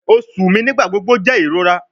Oṣu mi nigbagbogbo jẹ irora